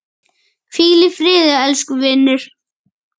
Hvíl í friði elsku vinur.